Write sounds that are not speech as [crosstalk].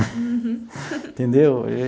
[laughs] Entendeu?